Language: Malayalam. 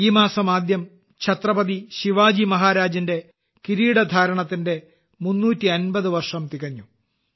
ഈ മാസം ആദ്യം ഛത്രപതി ശിവജി മഹാരാജിന്റെ കിരീടധാരണത്തിന്റെ 350 വർഷം തികഞ്ഞു